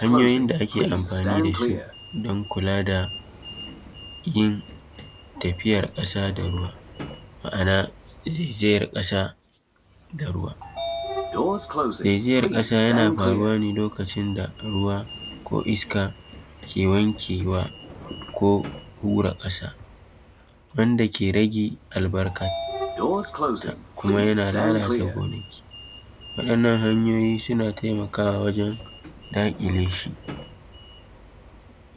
Hanyoyin da ake amfani da su don kula da yin tafiyar ƙasa da ruwa. Zaizayar ƙasa yana faruwa ne lokacin da ruwa ko iska ke wanke wa ko hura ƙasa wanda ke rage albarkanta kuma yana lalata gonaki. Waɗannan hanyoyin suna taimakawa wajen daƙile shi;